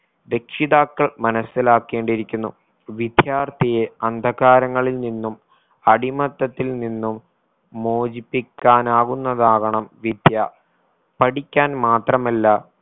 രക്ഷിതാക്കൾ മനസ്സിലാക്കേണ്ടിയിരിക്കുന്നു. വിദ്യാർത്ഥിയെ അന്ധകാരങ്ങളിൽ നിന്നും അടിമത്തത്തിൽ നിന്നും മോചിപ്പിക്കാനാവുന്നതാവണം വിദ്യ പഠിക്കാൻ മാത്രമല്ല